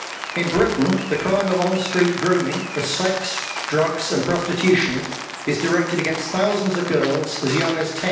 In Britain, the crime of on street grooming for sex, drugs and prostitution is directed against thousands of girls as young as